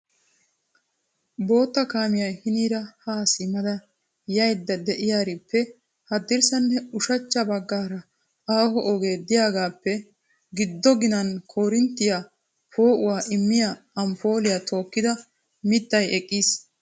Bootta kaamiya hiniira ha simmada yaydda de'iyaarippe haddirssanne ushachcha baggaara aaho ogee de'iyaappe giddo ginan koorinttiya poo'uwàa immiyaa amppoliyaa tookkida mittay eqqiis.